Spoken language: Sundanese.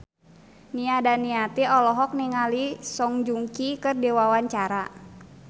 Nia Daniati olohok ningali Song Joong Ki keur diwawancara